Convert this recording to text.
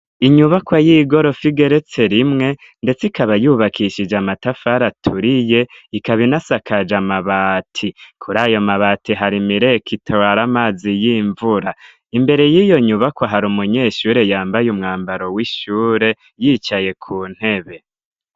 Inyubakwa y'igorofa igeretse rimwe ndetse ikaba yubakishije amatafari aturiye, ikaba inasakaje amabati. Kuri ayo mabati hari imireko itwara amazi y'imvura. Imbere y'iyo nyubakwa hari umunyeshure yambaye umwambaro w'ishure, yicaye ku ntebe.